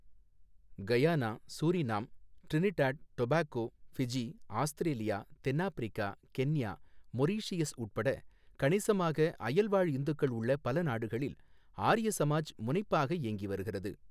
Guyana, Suriname, Trinidad, Tobago, Fiji, Australia, தென்னாப்பிரிக்கா, Kenya, Mauritius உட்பட கணிசமாக அயல்வாழ் இந்துக்கள் உள்ள பல நாடுகளில் ஆரிய சமாஜ் முனைப்பாக இயங்கி வருகிறது.